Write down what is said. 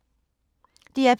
DR P2